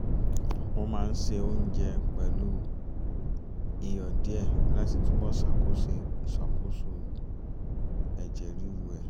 o máa ń ṣe oúnjẹ pẹ̀lú iyọ̀ díẹ̀ láti túbọ̀ ṣàkóso ẹ̀jẹ̀ ríru ẹ̀